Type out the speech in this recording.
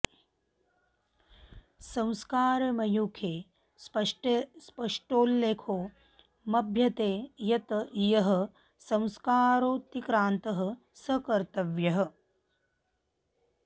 संस्कारमयूखे स्पष्टोल्लेखो मभ्यते यत् यः संस्कारोऽतिक्रान्तः स कर्तव्यः